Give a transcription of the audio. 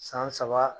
San saba